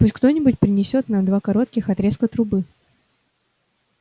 пусть кто-нибудь принесёт нам два коротких отрезка трубы